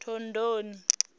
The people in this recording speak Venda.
thondoni